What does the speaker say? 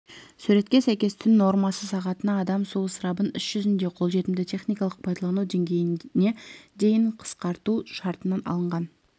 суретке сәйкес түн нормасы сағатына адам су ысырабын іс жүзінде қолжетімді техникалық пайдалану деңгейіне дейін қысқарту шартынан алынған